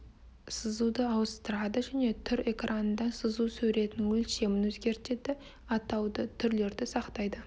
сызуды ауыстырады және түр экранында сызу суретінің өлшемін өзгертеді атауды түрлерді сақтайды